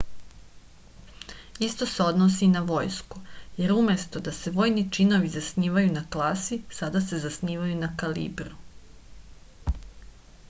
isto se odnosi i na vojsku jer umesto da se vojni činovi zasnivaju na klasi sada se zasnivaju na kalibru